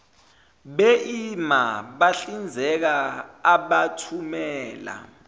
eima bahlinzeka abathumela